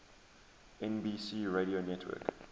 nbc radio network